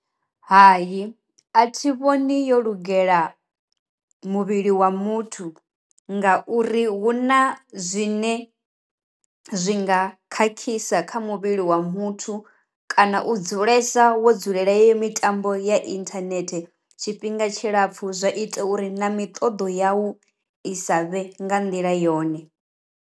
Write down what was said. Hai a thi vhoni yo lugela muvhili wa muthu nga uri huna zwine zwi nga khakhisa kha muvhili wa muthu kana u dzulesa wo dzulela yeyo mitambo ya inthanethe tshifhinga tshilapfu zwa ita uri na miṱoḓo yau i sa vhe nga nḓila yone.